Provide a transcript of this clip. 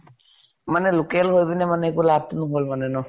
মানে local হৈ পিনে মানে একো লাভতো নহল মানে ন